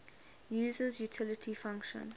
user's utility function